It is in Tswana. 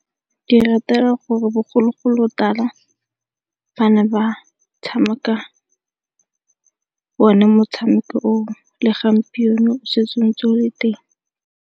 Ke e ratela gore bogologolotala ba ne ba tshameka o ne motshameko o o. Le gompieno setse o ntse o le teng.